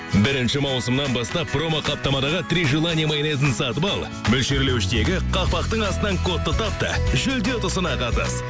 бірінші маусымнан бастап промо қаптамадағы три желания майонезін сатып ал мөлшерлеуіштегі қақпақтың астынан кодты тап та жүлде ұтысына қатыс